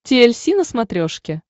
ти эль си на смотрешке